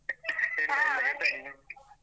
.